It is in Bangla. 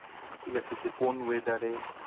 ঠিক আছে যে কোন weather এ